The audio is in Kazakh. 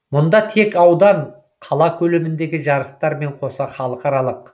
мұнда тек аудан қала көлеміндегі жарыстар мен қоса халықаралық